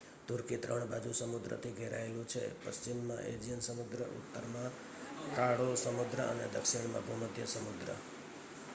તુર્કી 3 બાજુ સમુદ્રથી ઘેરાયેલું છે પશ્ચિમમાં એજિયન સમુદ્ર ઉત્તરમાં કાળો સમુદ્ર અને દક્ષિણમાં ભૂમધ્ય સમુદ્ર